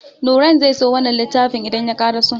Nurain zai so wannan littafin idan ya karaso.